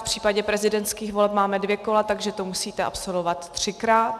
V případě prezidentských voleb máme dvě kola, takže to musíte absolvovat třikrát.